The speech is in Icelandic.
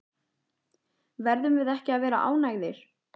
Verðum við ekki að vera ánægðir?